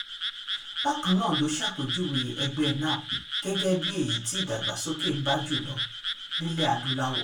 bákan náà ló ṣàpèjúwe ẹgbẹ́ nnepp gẹ́gẹ́ bíi èyí tí ìdàgbàsókè ń bá jù lọ nílẹ̀ aláwọ̀ dúdú